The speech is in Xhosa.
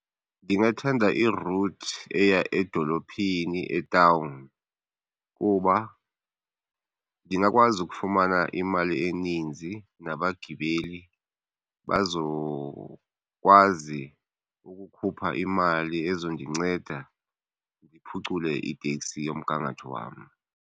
Ndingathanda i-route eya edolophini etawuni kuba ndingakwazi ukufumana imali eninzi nabagibeli bazokwazi ukukhupha imali ezondinceda ndiphucule iteksi yomgangatho wam.